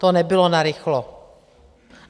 To nebylo narychlo.